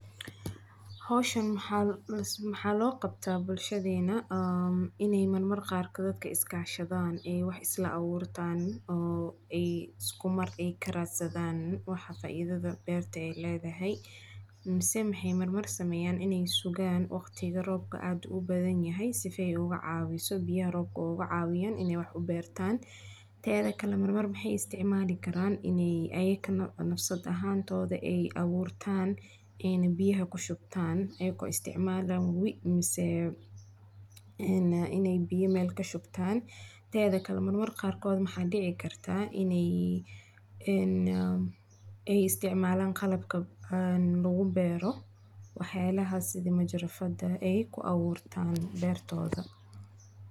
Howshaan maxa logabta bulshadeena, aa ini marmar qaarkodh dadka iskashadan, wax islaawurtan, oo ay iskumar ay karadsadana waxa faidada ay berta lexaday, mise maxay mar mar sameyan Inay sugaan wagtiga roobka aad ubadanyaxay sifay ugacawiso biya roobka ugacawiyan in wax ubertan, tedhadakle mar mar maxay isticmalikaran Inay ayagana nafsad ahantoda aburta, ini biyaxa kushubtan ayago isticmaalayan wowoo mise Inay biya Mel kushubtan, mar Marka qaarkodh Inay een isticmalan qalabka een lagubero, wax yalaxa sidhi majarafada ay kuawurtan bertoda.